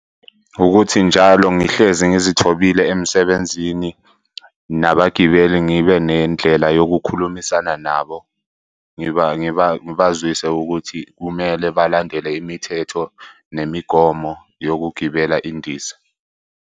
Ukuthi njalo ngihlezi ngizithobile emsebenzini. Nabagibeli, ngibe nendlela yokukhulumisana nabo. Ngibazwise ukuthi kumele balandele imithetho nemigomo yokugibela indiza.